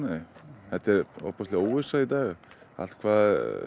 þetta er ofboðsleg óvissa í dag allt hvað